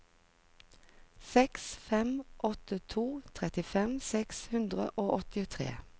seks fem åtte to trettifem seks hundre og åttitre